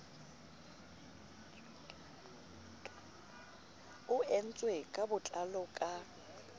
o entswe ka botlalo ka